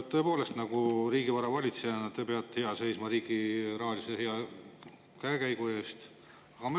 Tõepoolest, riigivara valitsejana te peate hea seisma riigi hea rahalise käekäigu eest.